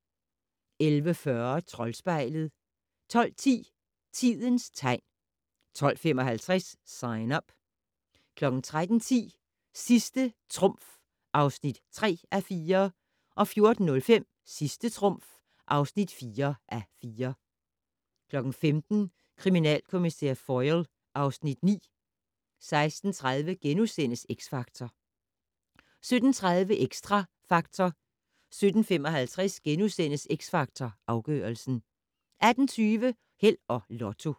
11:40: Troldspejlet 12:10: Tidens tegn 12:55: Sign Up 13:10: Sidste trumf (3:4) 14:05: Sidste trumf (4:4) 15:00: Kriminalkommissær Foyle (Afs. 9) 16:30: X Factor * 17:30: Xtra Factor 17:55: X Factor Afgørelsen * 18:20: Held og Lotto